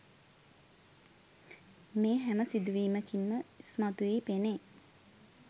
මේ හැම සිදුවීමකින්ම ඉස්මතු වී පෙනේ.